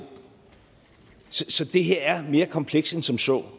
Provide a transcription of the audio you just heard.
så det her er mere komplekst end som så